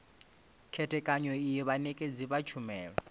khethekanyo iyi vhanekedzi vha tshumelo